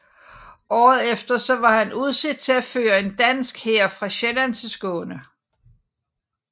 Året efter var han udset til at føre en dansk hær fra Sjælland til Skåne